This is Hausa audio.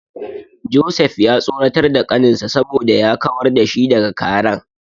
Joseph ya tsoratar da kaninsa saboda ya kawar da shi daga karen.